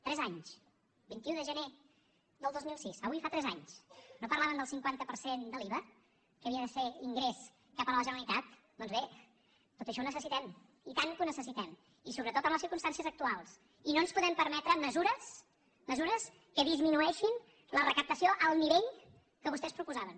tres anys vint un de gener del dos mil sis avui fa tres anys no parlaven del cinquanta per cent de l’iva que havia de ser ingrés cap a la generalitat doncs bé tot això ho necessitem i tant que ho necessitem i sobretot en les circumstàncies actuals i no ens podem perme·tre mesures mesures que disminueixin la recaptació al nivell que vostès proposaven